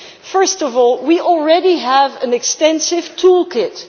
First of all, we already have an extensive toolkit.